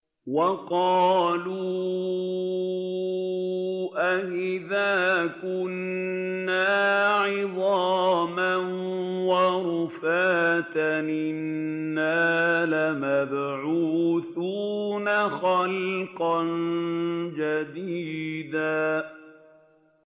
وَقَالُوا أَإِذَا كُنَّا عِظَامًا وَرُفَاتًا أَإِنَّا لَمَبْعُوثُونَ خَلْقًا جَدِيدًا